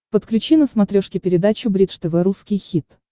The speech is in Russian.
подключи на смотрешке передачу бридж тв русский хит